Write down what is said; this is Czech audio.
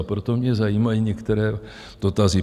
A proto mě zajímají některé dotazy.